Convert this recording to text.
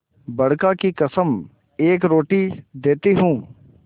बड़का की कसम एक रोटी देती हूँ